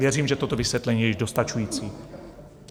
Věřím, že toto vysvětlení je již dostačující.